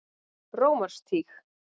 Rómarstíg